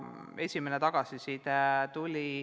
Tuli esimene tagasiside.